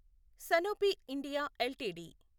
Sanofi India LTD